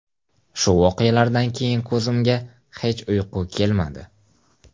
Shu voqealardan keyin ko‘zimga hech uyqu kelmadi.